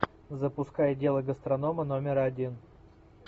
запускай дело гастронома номер один